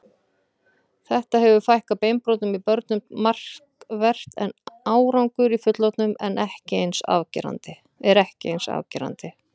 Þetta hefur fækkað beinbrotum í börnum markvert en árangur í fullorðnum er ekki eins afgerandi.